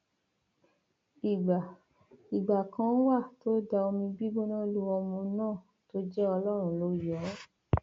ìgbà ìgbà kan wà tó da omi gígbóná lu ọmọ náà tó jẹ ọlọrun ló yọ ọ